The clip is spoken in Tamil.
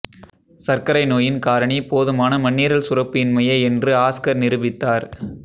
சர்க்கரை நோயின் காரணி போதுமான மண்ணீரல் சுரப்பு இன்மையே என்று ஆஸ்கர் நிரூபித்தார்